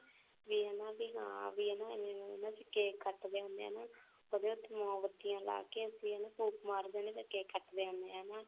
ਵੀ ਹਨਾ ਹਾਂ ਵੀ ਹਾਂ cake ਕੱਟਦੇ ਹੁੰਦੇ ਨੇ ਉਹਦੇ ਉੱਤੇ ਮੋਮਬਤੀਆਂ ਲਾ ਕੇ ਅਸੀਂ ਹਨਾ ਫੂਕ ਮਾਰ ਦੇ ਆ ਤੇ cake ਕੱਟਦੇ ਹੁੰਨ ਆ ਹਨਾ